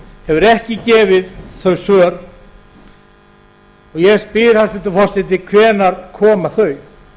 hefur ekki gefið þau svör og ég spyr hæstvirtur forseti hvenær koma þau